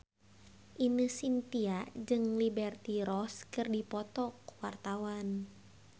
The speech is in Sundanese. Ine Shintya jeung Liberty Ross keur dipoto ku wartawan